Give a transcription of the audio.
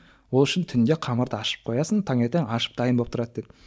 ол үшін түнде қамырды ашытып қоясың таңертең ашып дайын болып тұрады деді